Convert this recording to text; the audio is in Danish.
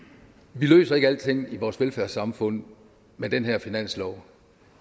vi løser ikke alting i vores velfærdssamfund med den her finanslov